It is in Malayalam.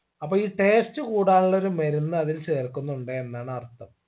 അപ്പൊ ഈ taste കൂടാനുള്ളൊരു മരുന്ന് അതിൽ ചേർക്കുന്നുണ്ട് എന്നാണ് അർഥം